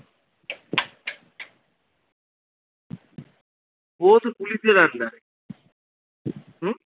ও তো পুলিশের under এ হম